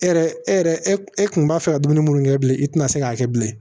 E yɛrɛ e yɛrɛ e kun b'a fɛ ka dumuni minnu kɛ bilen i tɛna se k'a kɛ bilen